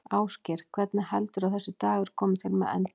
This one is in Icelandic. Ásgeir: Hvernig heldurðu að þessi dagur komi til með að enda?